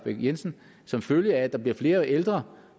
lahn jensen som følge af at der bliver flere ældre